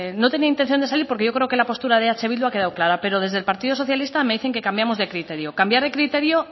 no tenía intención de salir porque yo creo que la postura de eh bildu ha quedado clara pero desde el partido socialista me dicen que cambiamos de criterio cambiar de criterio